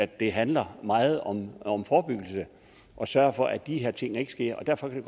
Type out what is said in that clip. det handler meget om om forebyggelse at sørge for at de her ting ikke sker og derfor kan